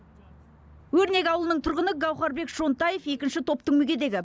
өрнек ауылының тұрғыны гаухарбек шонтаев екінші топтың мүгедегі